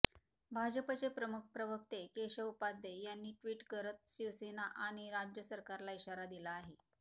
भाजपचे मुख्य प्रवक्ते केशव उपाध्ये यांनी ट्विट करत शिवसेना आणि राज्य सरकारला इशारा दिला आहे